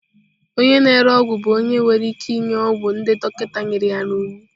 Onye na-ere ọgwụ bụ onye nwere ike ịnye ọgwụ ndị dọkịta nyere ya iwu.